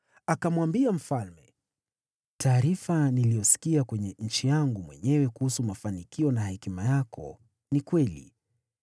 Akamwambia mfalme, “Taarifa niliyosikia kwenye nchi yangu mwenyewe kuhusu mafanikio na hekima yako ni kweli.